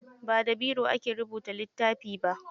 Ba da biro ake rubuta littafi ba.